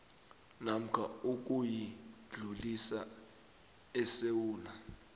namkha ukuyidlulisa esewula